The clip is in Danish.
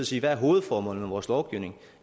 sige hvad er hovedformålet med vores lovgivning